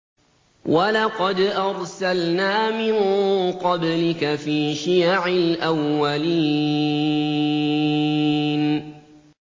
وَلَقَدْ أَرْسَلْنَا مِن قَبْلِكَ فِي شِيَعِ الْأَوَّلِينَ